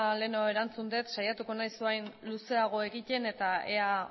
lehenago erantzun dut saiatuko naiz orain luzeago egiten eta ea